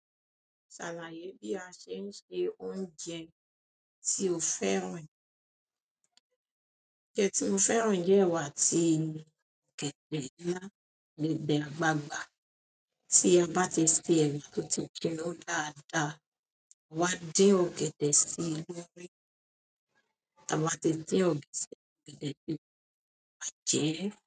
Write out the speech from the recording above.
Ṣàlàyé bí a ṣe ń se oúnjẹ tí o fẹ́ràn. Oúnjẹ tí mo fẹ́ràn jẹ́ ẹ̀wà àti ọ̀gẹ̀dẹ̀. Láti dẹ̀ àgbágbà tí ẹ bá ti sè ẹrù kí ó tó jinná dáadáa, a máa dé ọ̀gẹ̀dẹ̀ sí inú rì, a máa ti dé ọ̀gẹ̀dẹ̀ sí inú rí má jẹ ẹ́.